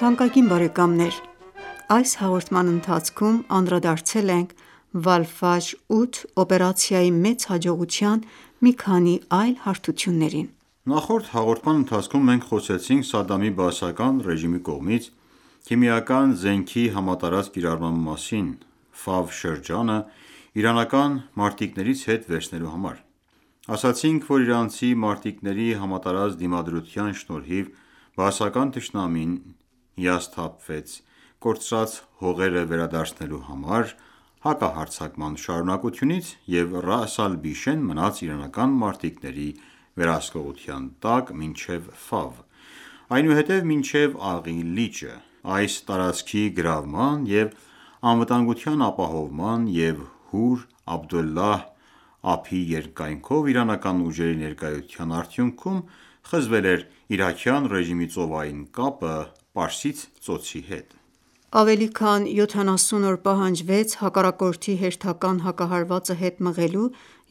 թանկագին բարեկամներ: Այս հաղորդման ընթացքում անդրադարձել ենք Վալֆաջր-8 օպերացիայի մեծ հաջողության մի քանի այլ հարթություններին։ Նախորդ հաղորդման ընթացքում մենք խոսեցինք Սադամի Բաասական ռեժիմի կողմից քիմիական զենքի համատարած կիրառման մասին՝ Ֆավ շրջանը իրանական մարտիկներից հետ վերցնելու համար։ Ասացինք, որ Իրանցի մարտիկների համատարած դիմադրության շնորհիվ բաասական թշնամին հիասթափվեց կորցրած հողերը վերադարձնելու համար հակահարձակման շարունակությունից և Ռաաս Ալ-Բիշեն մնաց իրանական մարտիկների վերահսկողության տակ մինչև այնուհետև մինչև Աղի լիճը։ Այս տարածքի գրավման և անվտանգության ապահովման և Հուր Աբդուլլահի ափի երկայնքով իրանական ուժերի ներկայության արդյունքում խզվել էր իրաքյան ռեժիմի ծովային կապը Պարսից Ծոցի հետ։ Ավելի քան յոթանասուն օր պահանջվեց հակառակորդի հերթական հակահարվածը հետ մղելու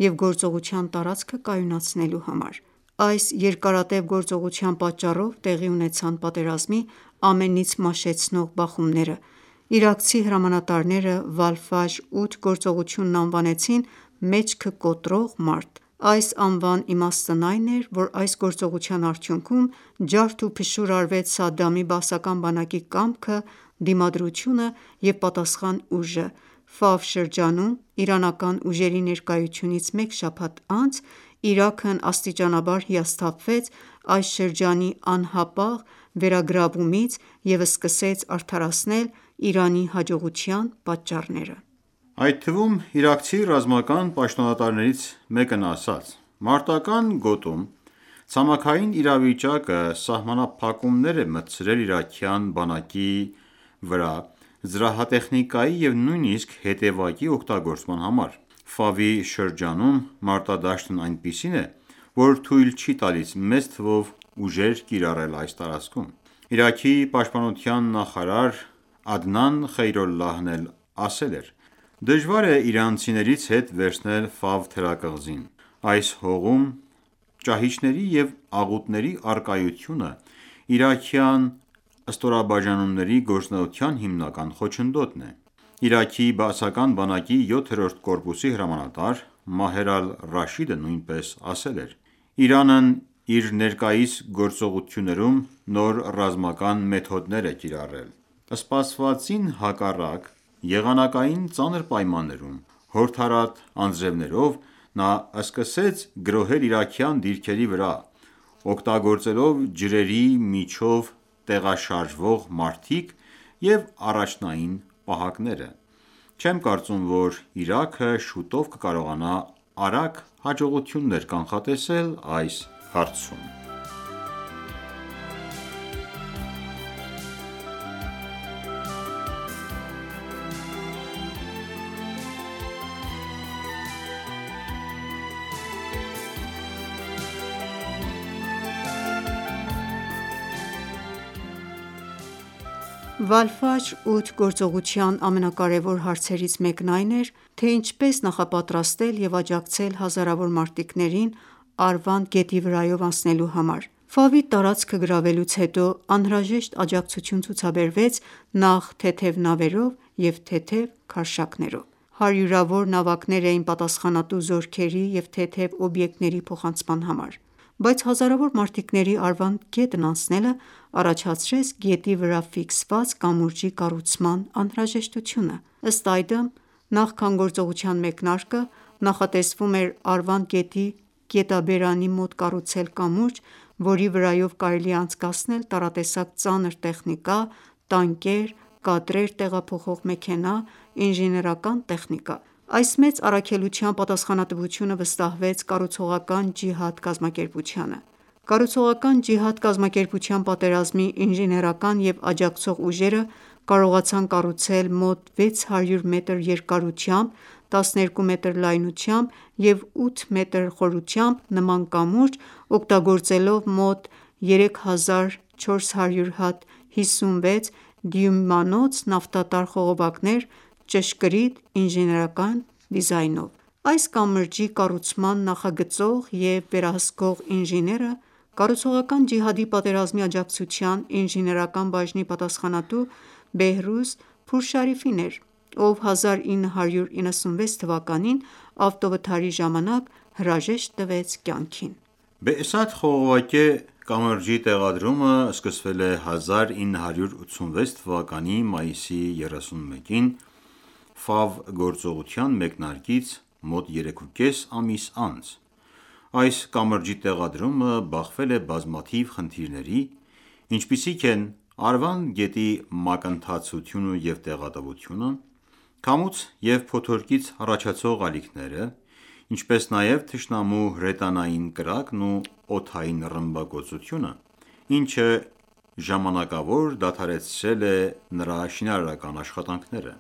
և գործողության տարածքը կայունացնելու համար։ Այս երկարատև գործողության պատճառով տեղի ունեցան պատերազմի ամենից մաշեցնող բախումները, իրաքցի հրամանատարները «Վալ-Ֆաջր 8» գործողությունն անվանեցին «մեջքը կոտրող մարտ»: Այս անվան իմաստն այն էր, որ այս գործողության արդյունքում ջարդուփշուր արվեց Սադամի բաասական բանակի «կամքը», «դիմադրությունը» և «պատասխան ուժը»։ Ֆավ շրջանում իրանական ուժերի ներկայությունից մեկ շաբաթ անց Իրաքն աստիճանաբար հիասթափվեց այս շրջանի անհապաղ վերագրավումից և սկսեց արդարացնել Իրանի հաջողության պատճառները: Այդ թվում իրաքցի ռազմական պաշտոնատարներից մեկն ասաց.«Մարտական ​​գոտում ցամաքային իրավիճակը սահմանափակումներ է մտցրել իրաքյան բանակի վրա զրահատեխնիկայի և նույնիսկ հետևակի օգտագործման համար։ Ֆավի շուրջ մարտադաշտն այնպիսին է, որ թույլ չի տալիս մեծ թվով ուժեր կիրառել այս տարածքում»։ Իրաքի պաշտպանության նախարար Ադնան Խեյրոլլահն էլ ասել էր.«Դժվար է իրանցիներից հետ վերցնել Ֆավ թերակղզին. Այս հողում ճահիճների ու աղուտների առկայությունը իրաքյան ստորաբաժանումների գործունեության հիմնական խոչընդոտն է»։ Իրաքի բաասական բանակի 7-րդ կորպուսի հրամանատար Մահեր Ալ-Ռաշիդը նույնպես ասել էր.«Իրանն իր ներկայիս գործողություններում նոր ռազմական մեթոդներ է կիրառել: Սպասվածին հակառակ՝ եղանակային ծանր պայմաններում՝ հորդառատ անձրևներով, նա սկսեց գրոհել իրաքյան դիրքերի վրա՝ օգտագործելով ջրերի միջով տեղաշարժվող մարդիկ և առաջնային ​​պահակները։ Չեմ կարծում, որ Իրաքը շուտով կկարողանա արագ հաջողություններ կանխատեսել այս հարցում»։ «Վալֆաջր 8» գործողության ամենակարևոր հարցերից մեկն այն էր, թե ինչպես նախապատրաստել և աջակցել հազարավոր մարտիկներին Արվանդ գետի վրայով անցնելու համար: Ֆավի տարածքը գրավելուց հետո անհրաժեշտ աջակցություն ցուցաբերվեց նախ թեթև նավերով և թեթև քարշակներով։ Հարյուրավոր նավակներ էին պատասխանատու զորքերի և թեթև օբյեկտների փոխանցման համար: Բայց հազարավոր մարտիկների Արվանդ գետն անցնելը առաջացրեց գետի վրա ֆիքսված կամուրջի կառուցման անհրաժեշտությունը: Ըստ այդմ, նախքան գործողության մեկնարկը նախատեսվում էր Արվանդ գետի գետաբերանի մոտ կառուցել կամուրջ, որի վրայով կարելի է անցկացնել տարատեսակ ծանր տեխնիկա՝ տանկեր, կադրեր տեղափոխող մեքենա, ինժեներական տեխնիկա։ Այս մեծ առաքելության պատասխանատվությունը վստահվեց կառուցողական ջիհադ կազմակերպությանը: Կառուցողական ջիհադ կազմակերպության պատերազմի ինժեներական և աջակցող ուժերը կարողացան կառուցել մոտ 600 մետր երկարությամբ, 12 մետր լայնությամբ և 8 մետր խորությամբ նման կամուրջ՝ օգտագործելով մոտ 3400 հատ 56 դյույմանոց նավթատար խողովակներ՝ ճշգրիտ ինժեներական դիզայնով: Այս կամրջի կառուցման նախագծող և վերահսկող ինժեները կառուցողական ջիհադի պատերազմի աջակցության ինժեներական բաժնի պատասխանատու Բեհրուզ Փուրշարիֆին էր, ով 1996 թվականին ավտովթարի ժամանակ հրաժեշտ տվեց կյանքին։ Բեսաթ խողովակե կամրջի տեղադրումը սկսվել է 1986 թվականի մայիսի 31-ին՝ «Ֆավ» գործողության մեկնարկից մոտ երեքուկես ամիս անց: Այս կամրջի տեղադրումը բախվել է բազմաթիվ խնդիրների, ինչպիսիք են Արվանդ գետի մակընթացությունը և տեղատվությունը, քամուց և փոթորիկից առաջացող ալիքները, ինչպես նաև թշնամու հրետանային կրակն ու օդային ռմբակոծությունը, ինչը ժամանակավոր դադարեցրել է նրա շինարարական աշխատանքները։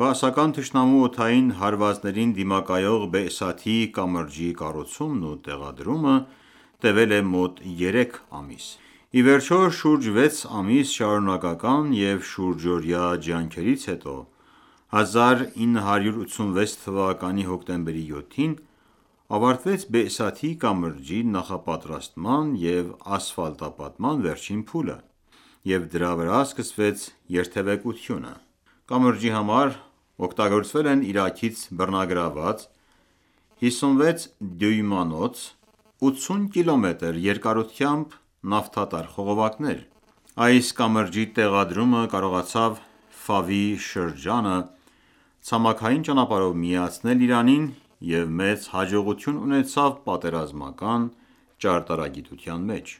Բաասական թշնամու օդային հարվածներին դիմակայող Բեսաթի կամրջի կառուցումն ու տեղադրումը տևել է մոտ երեք ամիս։ Ի վերջո, շուրջ 6 ամիս շարունակական և շուրջօրյա ջանքերից հետո 1986 թվականի հոկտեմբերի 7-ին ավարտվեց Բեսաթի կամրջի նախապատրաստման և ասֆալտապատման վերջին փուլը, և դրա վրա սկսվեց երթեւեկությունը։ Կամրջի համար օգտագործվել են Իրաքից բռնագրավված 56 դյույմանոց, 80 կմ երկարությամբ նավթատար խողովակներ: Այս կամրջի տեղադրումը կարողացավ Ֆավի շրջանը ցամաքային ճանապարհով միացնել Իրանին և մեծ հաջողություն ունեցավ պատերազմական ճարտարագիտության մեջ։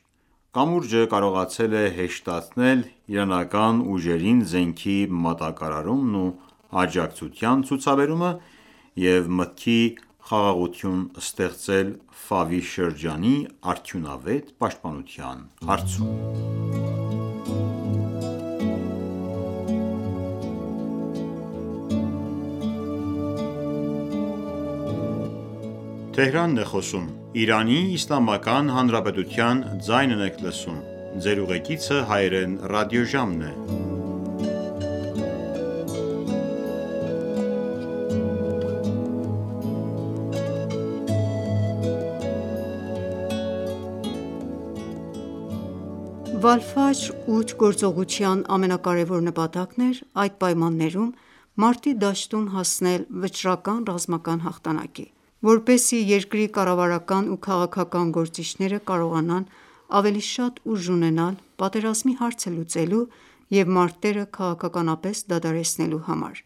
Կամուրջը կարողացել է հեշտացնել իրանական ուժերին զենքի մատակարարումն ու աջակցության ցուցաբերումը և մտքի խաղաղություն ստեղծել՝ Ֆավի շրջանի արդյունավետ պաշտպանության հարցում։ Պարտադրված պատերազմի ժամանակ ինժեներական գլուխգործոց Բեսաթի կամրջի կառուցումը Վալֆաջր 8 գործողության ամենակարևոր նպատակն էր այդ պայմաններում մարտի դաշտում հասնել վճռական ռազմական հաղթանակի, որպեսզի երկրի կառավարական ու քաղաքական գործիչները կարողանան ավելի շատ ուժ ունենալ պատերազմի հարցը լուծելու և մարտերը քաղաքականապես դադարեցնելու համար: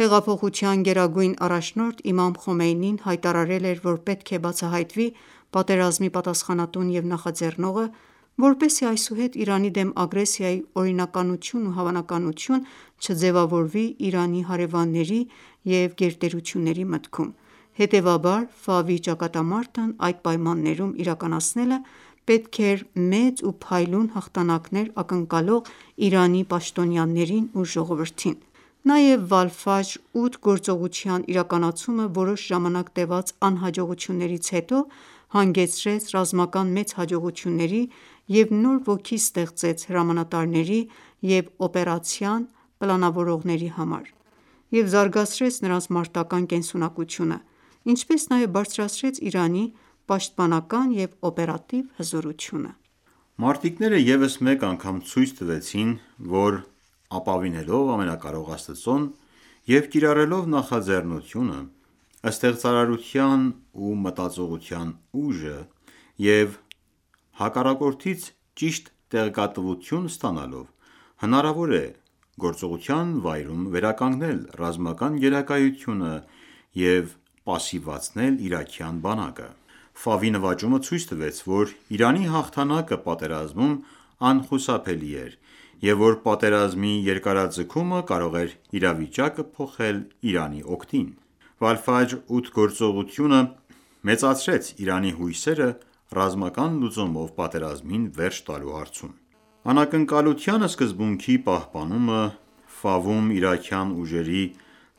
Հեղափոխության գերագույն առաջնորդ Իմամ Խոմեյնին հայտարարել էր, որ պետք է բացահայտվի պատերազմի պատասխանատուն և նախաձեռնողը, որպեսզի այսուհետ Իրանի դեմ ագրեսիայի օրինականություն ու հավանականություն չձևավորվի Իրանի հարևանների և մեծ ուժերի մտքում։ Հետևաբար Ֆավի ճակատամարտն այդ պայմաններում իրականացնելը պետք էր մեծ ու փայլուն հաղթանակներ ակնկալող Իրանի պաշտոնյաներին ու ժողովրդին։ Նաև «Վալֆաջր 8» գործողության իրականացումը որոշ ժամանակ տևած անհաջողություններից հետո հանգեցրեց ռազմական մեծ հաջողությունների և նոր ոգի ստեղծեց հրամանատարների և օպերացիան պլանավորողների համար և զարգացրեց նրանց մարտական ​​կենսունակությունը, ինչպես նաև բարձրացրեց Իրանի պաշտպանական և օպերատիվ հզորությունը: Մարտիկները ևս մեկ անգամ ցույց տվեցին, որ ապավինելով Ամենակարող Աստծուն և կիրառելով նախաձեռնությունը, ստեղծարարության ու մտածողության ուժը և հակառակորդից ճիշտ տեղեկատվություն ստանալով՝ հնարավոր է գործողության վայրում վերականգնել ռազմական գերակայությունը և պասիվացնել իրաքյան բանակը։ Ֆավի նվաճումը ցույց տվեց, որ Իրանի հաղթանակը պատերազմում անխուսափելի էր, և որ պատերազմի երկարաձգումը կարող է իրավիճակը փոխել Իրանի օգտին: «Վալֆաջր 8» գործողությունը մեծացրեց Իրանի հույսերը՝ ռազմական լուծումով պատերազմին վերջ տալու հարցում: «Անակնկալության սկզբունքի պահպանումը», «Ֆավում իրաքյան ուժերի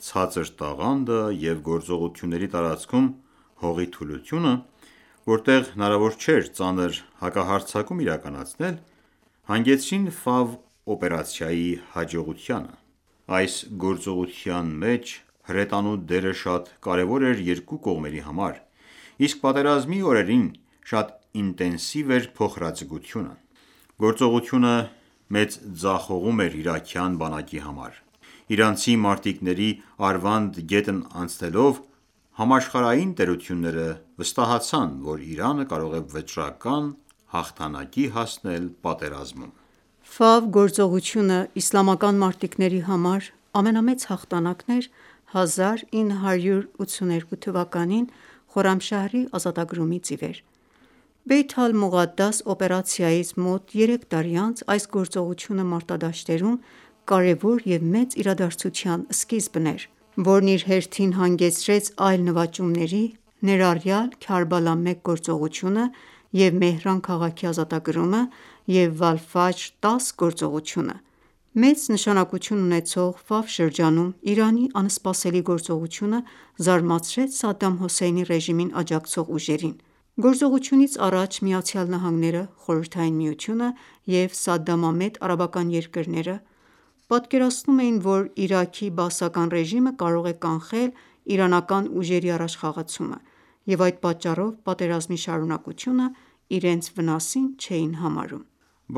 ցածր տաղանդը» և «գործողությունների տարածքում հողի թուլությունը», որտեղ հնարավոր չէր ծանր հակահարձակում իրականացնել՝ հանգեցրին Ֆավ օպերացիայի հաջողությանը: Այս գործողության մեջ հրետանու դերը շատ կարևոր էր երկու կողմերի համար, իսկ պատերազմի օրերին շատ ինտենսիվ էր փոխհրաձգությունը։ Գործողությունը մեծ ձախողում էր իրաքյան բանակի համար: Իրանցի մարտիկների Արվանդ գետն անցնելով՝ համաշխարհային տերությունները վստահացան, որ Իրանը կարող է վճռական հաղթանակի հասնել պատերազմում։ Բեսաթ կամուրջը գործողությունը իսլամական մարտիկների համար ամենամեծ հաղթանակն էր 1982 թվականին Խորամշահրի ազատագրումից ի վեր: Բեյթ Ալ-Մողադաս օպերացիայից մոտ երեք տարի անց այս գործողությունը մարտադաշտերում կարևոր և մեծ իրադարձության սկիզբն էր, որն իր հերթին հանգեցրեց այլ նվաճումների, ներառյալ «Քարբալա 1» գործողությունը և Մեհրան քաղաքի ազատագրումը և «Վալֆաջր 10» գործողությունը: Մեծ նշանակություն ունեցող Ֆավ շրջանում Իրանի անսպասելի գործողությունը զարմացրեց Սադամ Հուսեյնի ռեժիմին աջակցող ուժերին։ Գործողությունից առաջ ԱՄՆ-ը, Խորհրդային Միությունը և սադամամետ արաբական երկրները պատկերացնում էին, որ Իրաքի Բաասական ռեժիմը կարող է կանխել իրանական ուժերի առաջխաղացումը, և այդ պատճառով պատերազմի շարունակությունը իրենց վնասին չէին համարում: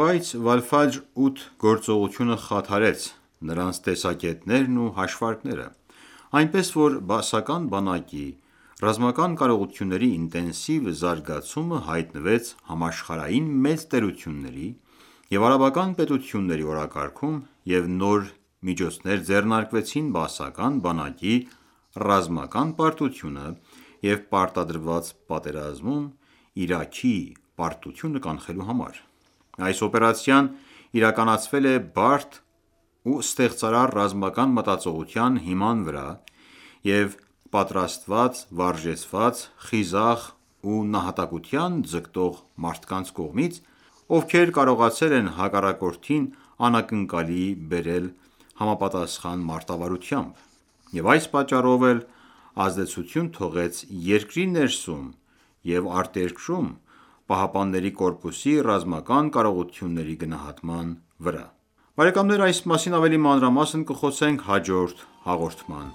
Բայց «Վալֆաջր 8» գործողությունը խաթարեց նրանց տեսակետներն ու հաշվարկները, այնպես որ բաասական բանակի ռազմական կարողությունների ինտենսիվ զարգացումը հայտնվեց համաշխարհային մեծ տերությունների և արաբական պետությունների օրակարգում, և նոր միջոցներ ձեռնարկվեցին բաասական բանակի ռազմական պարտությունը և պարտադրված պատերազմում Իրաքի պարտությունը կանխելու համար: Այս օպերացիան իրականացվել է բարդ ու ստեղծարար ռազմական մտածողության հիման վրա և պատրաստված, վարժեցված, խիզախ ու նահատակության ձգտող մարդկանց կողմից, ովքեր կարողացել են հակառակորդին անակնկալի բերել համապատասխան մարտավարությամբ։ Եվ այս պատճառով էլ ազդեցություն թողեց երկրի ներսում և արտերկրում ԻՀՊԿ-ի ռազմական կարողությունների գնահատաման վրա: Այս մասին ավելի մանրամասն կխոսենք հաջորդ հաղորդման